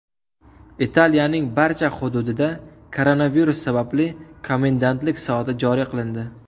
Italiyaning barcha hududida koronavirus sababli komendantlik soati joriy qilindi.